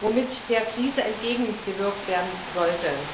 mit dem der Krise entgegengewirkt werden soll?